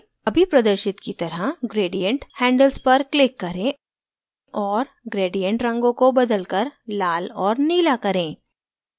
अभी प्रदर्शित की तरह gradient handles पर click करें और gradient रंगों को बदलकर लाल और नीला करें